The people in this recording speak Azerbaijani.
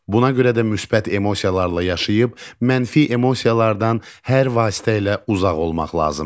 Buna görə də müsbət emosiyalarla yaşayıb, mənfi emosiyalardan hər vasitə ilə uzaq olmaq lazımdır.